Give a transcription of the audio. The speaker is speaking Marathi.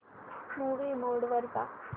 मूवी मोड वर जा